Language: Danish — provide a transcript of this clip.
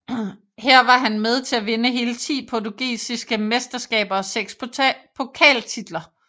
Her var han med til at vinde hele ti portugisiske mesteskaber og seks pokaltitler